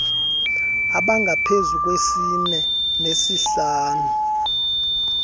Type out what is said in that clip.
abangaphezu kwesine nesihlanu